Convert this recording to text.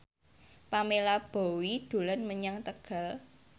Pamela Bowie dolan menyang Tegal